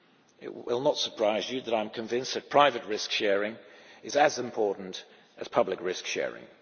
It will not surprise you that I am convinced that private risk sharing is as important as public risk sharing.